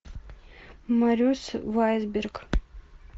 марюс вайсберг